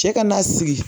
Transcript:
Cɛ ka na sigi